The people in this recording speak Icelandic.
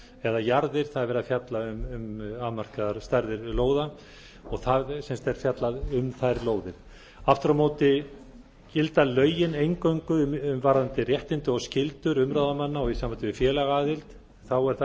eða jarðir það er verið að fjalla um afmarkaðar stærðir lóða og það er fjallað um þær lóðir aftur á móti gilda lögin eingöngu varðandi réttindi og skyldur umráðamanna og í sambandi við félagaaðild er það